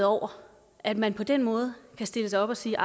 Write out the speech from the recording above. over at man på den måde kan stille sig op og sige